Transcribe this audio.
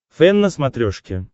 фэн на смотрешке